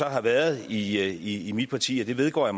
har været i i mit parti og det vedgår jeg